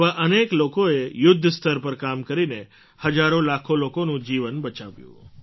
એવા અનેક લોકોએ યુદ્ધ સ્તર પર કામ કરીને હજારોલાખો લોકોનું જીવન બચાવ્યું